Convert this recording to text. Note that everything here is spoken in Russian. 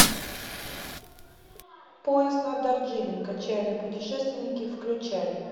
поезд на дарджилинг отчаянные путешественники включай